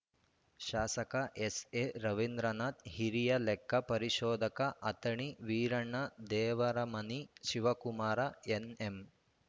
ಶಾಸಕ ಎಸ್‌ಎ ರವೀಂದ್ರನಾಥ್‌ ಹಿರಿಯ ಲೆಕ್ಕ ಪರಿಶೋಧಕ ಅಥಣಿ ವೀರಣ್ಣ ದೇವರಮನಿ ಶಿವಕುಮಾರ ಎನ್‌ಎಂ